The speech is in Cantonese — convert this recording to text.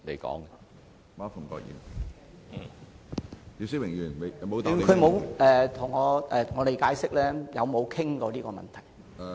局長沒有向我們解釋有否討論過這個問題？